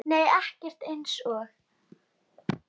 Nei ekkert eins og